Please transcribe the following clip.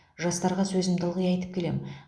жастарға сөзімді ылғи айтып келем